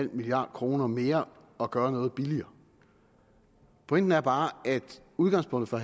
milliard kroner mere at gøre noget billigere pointen er bare at udgangspunktet for